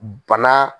Bana